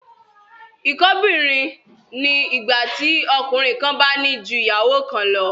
Ìkóbìnrin ni ìgbà tí ọkùnrin kan bá ní ju ìyàwó kan lọ